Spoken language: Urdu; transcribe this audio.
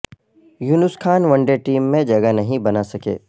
یونس خان ون ڈے ٹیم میں جگہ نہیں بنا سکے